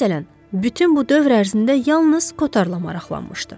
Məsələn, bütün bu dövr ərzində yalnız kotorla maraqlanmışdı.